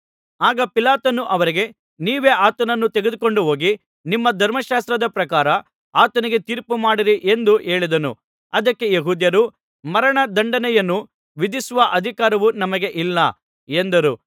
ಆಗ ಪಿಲಾತನು ಅವರಿಗೆ ನೀವೇ ಆತನನ್ನು ತೆಗೆದುಕೊಂಡು ಹೋಗಿ ನಿಮ್ಮ ಧರ್ಮಶಾಸ್ತ್ರದ ಪ್ರಕಾರ ಆತನಿಗೆ ತೀರ್ಪು ಮಾಡಿರಿ ಎಂದು ಹೇಳಿದನು ಅದಕ್ಕೆ ಯೆಹೂದ್ಯರು ಮರಣ ದಂಡನೆಯನ್ನು ವಿಧಿಸುವ ಅಧಿಕಾರವು ನಮಗೆ ಇಲ್ಲ ಎಂದರು